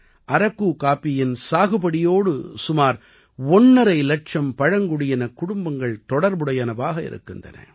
அரக்கு காப்பியின் சாகுபடியோடு சுமார் ஒண்ணரை இலட்சம் பழங்குடியினக் குடும்பங்கள் தொடர்புடையனவாக இருக்கின்றன